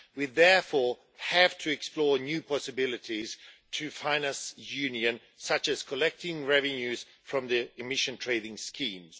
We therefore have to explore new possibilities to finance the Union, such as collecting revenues from the emission trading schemes.